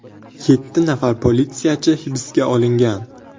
Yetti nafar politsiyachi hibsga olingan.